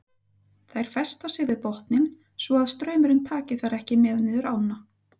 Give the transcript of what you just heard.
Þær festa sig við botninn svo að straumurinn taki þær ekki með niður ána.